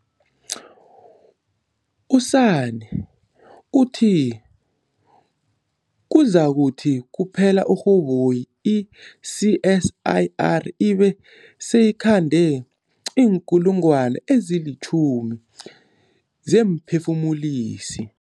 U-Sanne uthi kuzakuthi kuphela uRhoboyi i-CSIR ibe seyikhande iinkulungwana ezilitjhumi zeemphefumulisi.